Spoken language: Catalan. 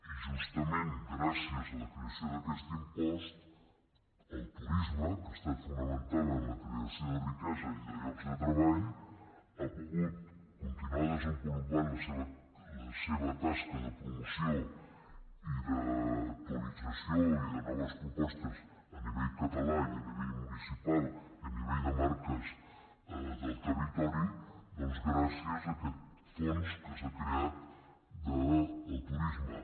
i justament gràcies a la creació d’aquest impost el turisme que ha estat fonamental en la creació de riquesa i de llocs de treball ha pogut continuar desenvolupant la seva tasca de promoció i d’actualització i de noves propostes a nivell català i a nivell municipal i a nivell de marques del territori doncs gràcies a aquest fons que s’ha creat del turisme